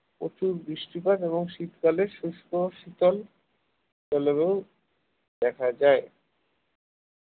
প্রচুর বৃষ্টিপাত এবং শীতকালে শুষ্ক ও শীতল জলবায়ু দেখা যায়